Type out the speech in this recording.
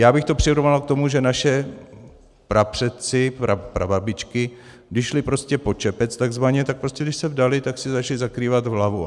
Já bych to přirovnal k tomu, že naši prapředci, prababičky, když šly prostě pod čepec takzvaně, tak prostě když se vdaly, tak si začaly zakrývat hlavu.